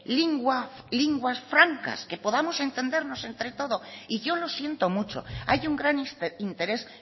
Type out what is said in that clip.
lenguas francas que podamos entendernos entre todos y yo lo siento mucho hay un gran interés